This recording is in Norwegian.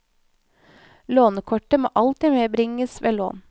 Lånekortet må alltid medbringes ved lån.